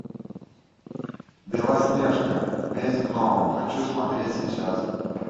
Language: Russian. белоснежка месть гномов хочу смотреть сейчас